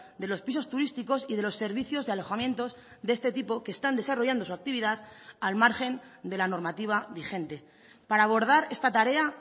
de los pisos turísticos y de los servicios de alojamientos de este tipo que están desarrollando su actividad al margen de la normativa vigente para abordar esta tarea